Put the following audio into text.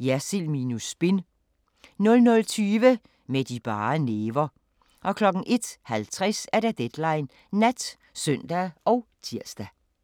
Jersild minus spin * 00:20: Med de bare næver 01:50: Deadline Nat (søn og tir)